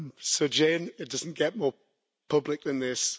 So Jane, it doesn't get more public than this.